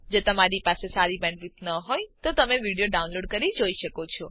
જો તમારી પાસે સારી બેન્ડવિડ્થ ન હોય તો તમે વિડીયો ડાઉનલોડ કરીને જોઈ શકો છો